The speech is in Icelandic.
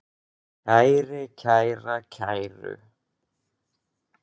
kæri, kæra, kæru